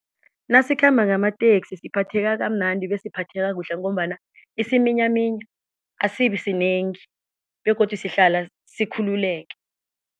Nasikhamba ngamateksi siphatheka kamnandi bese siphatheka kuhle ngombana isiminyaminya asibisinengi begodu sihlala sikhululeke.